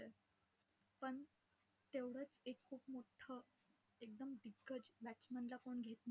पण, तेवढचं एक खूप मोठं एकदम दिग्गज batsman ला कोणी घेत नाही.